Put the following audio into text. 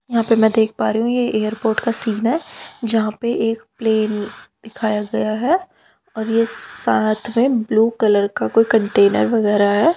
यहां पे मैं देख पा रही हूं ये एयरपोर्ट का सीन है जहां पे एक प्लेन दिखाया गया है और ये साथ में ब्लू कलर का कोई कंटेनर वगैरा है।